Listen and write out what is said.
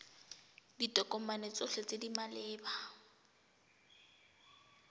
ditokomane tsotlhe tse di maleba